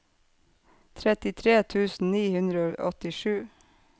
trettitre tusen ni hundre og åttisju